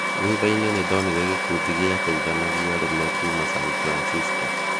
Thuthainĩ, nindonire gĩkundi gĩteithania arũme kuuma San Francisco.